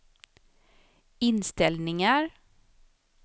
inställningar